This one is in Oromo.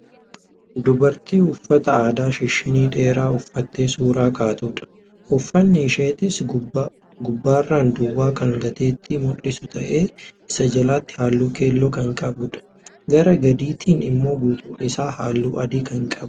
Dubartii uffata aadaa shishinnii dheeraa uffattee suuraa kaatudha. Uffanni isheetis gubbaarran duwwaa kan gateettii mul'isu ta'ee isaa jalatti halluu keelloo kan qabudha. Gara gadiitiin immoo guutuun isaa halluu adii kan ta'edha.